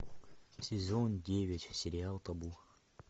сезон девять сериал табу